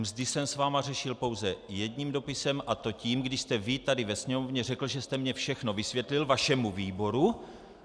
Mzdy jsem s vámi řešil pouze jedním dopisem, a to tím, když jste vy tady ve sněmovně řekl, že jste mně všechno vysvětlil, vašemu výboru.